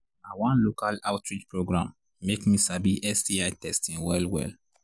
na one local outreach program make me sabi sti testing well well